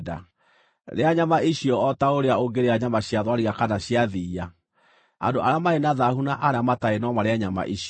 Rĩa nyama icio o ta ũrĩa ũngĩrĩa nyama cia thwariga kana cia thiiya. Andũ arĩa marĩ na thaahu na arĩa matarĩ no marĩe nyama icio.